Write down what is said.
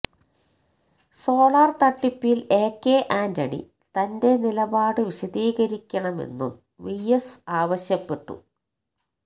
solar തട്ടിപ്പില് എ കെ ആന്റണി തന്റെ നിലപാട് വിശദീകരിക്കണമെന്നും വി എസ് ആവശ്യപ്പെട്ടു